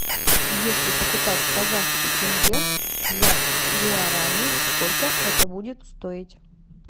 если покупать казахский тенге за гуарани сколько это будет стоить